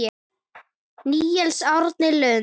Níels Árni Lund.